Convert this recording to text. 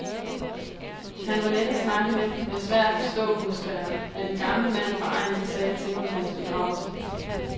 Han var let at snakke med, men svær at forstå husker jeg, at en gammel mand fra egnen sagde til mig ved hans begravelse.